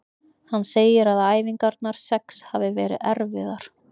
Hann segir að æfingarnar sex hafi verið erfiðar.